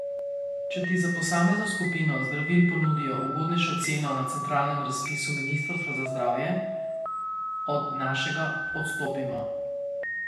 Če ti za posamezno skupino zdravil ponudijo ugodnejšo ceno na centralnem razpisu ministrstva za zdravje, od našega odstopimo.